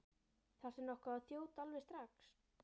Þarftu nokkuð að þjóta alveg strax?